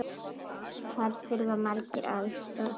Þar þurfa margir aðstoð.